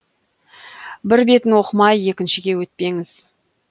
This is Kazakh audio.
бір бетін оқымай екіншіге өтпеңіз